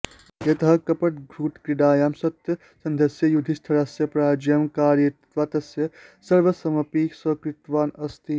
यतः कपटद्यूतक्रीडायां सत्यसन्धस्य युधिष्ठिरस्य पराजयं कारयित्वा तस्य सर्वस्वमपि स्वीकृतवान् अस्ति